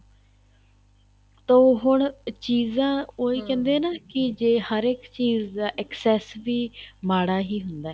ਤਾਂ ਉਹ ਹੁਣ ਚੀਜ਼ਾਂ ਉਹ ਕਹਿੰਦੇ ਹੈ ਨਾ ਕੀ ਜ਼ੇ ਹਰ ਇੱਕ ਚੀਜ਼ ਦਾ excess ਵੀ ਮਾੜਾ ਹੀ ਹੁੰਦਾ ਏ